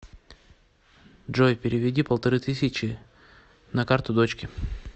джой переведи полторы тысячи на карту дочке